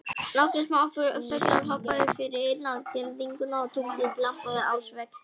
Nokkrir smáfuglar hoppuðu fyrir innan girðinguna og tunglið glampaði á svellbunka.